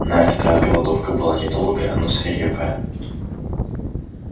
на этот раз голодовка была недолгая но свирепая